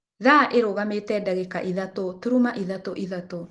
Thaa ĩrarũgamĩre thaa 3:33